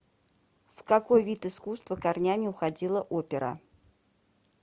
в какой вид искусства корнями уходила опера